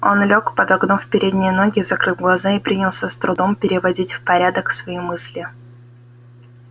он лёг подогнув передние ноги закрыл глаза и принялся с трудом переводить в порядок свои мысли